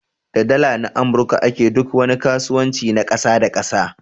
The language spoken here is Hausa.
Da Dala na amurka a ke duk wani kasuwanci na kasa da kasa.